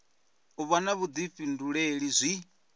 u vha na vhuḓifhinduleli zwi